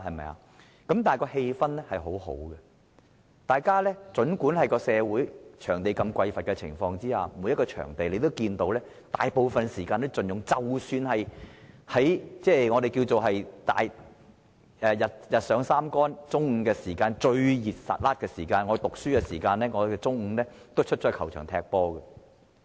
但是，當時的氣氛很好，儘管社會在場地匱乏的情況下，每個場地大部分時間都被盡用，即使日上三竿，中午最炎熱的時候，我們也會到球場踢足球。